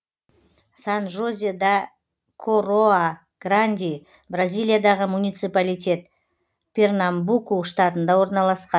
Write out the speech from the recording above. сан жозе да короа гранди бразилиядағы муниципалитет пернамбуку штатында орналасқан